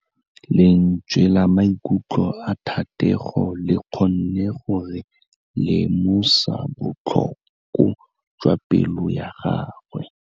Lentswe la maikutlo a Thategô le kgonne gore re lemosa botlhoko jwa pelô ya gagwe.